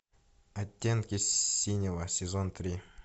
оттенки синего сезон три